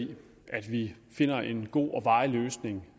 i at vi finder en god og varig løsning